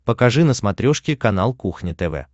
покажи на смотрешке канал кухня тв